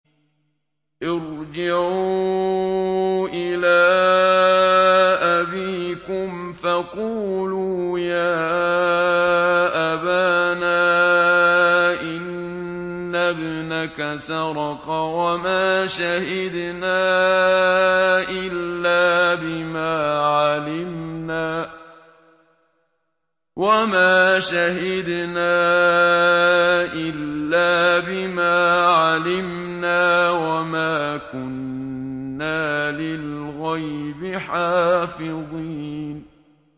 ارْجِعُوا إِلَىٰ أَبِيكُمْ فَقُولُوا يَا أَبَانَا إِنَّ ابْنَكَ سَرَقَ وَمَا شَهِدْنَا إِلَّا بِمَا عَلِمْنَا وَمَا كُنَّا لِلْغَيْبِ حَافِظِينَ